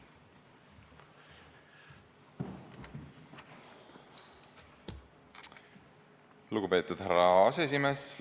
Lugupeetud härra aseesimees!